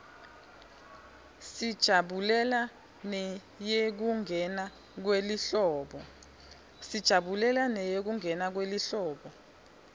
sijabulela neyekungena kwelihlobo